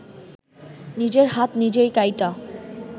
নিজের হাত নিজেই কাইটা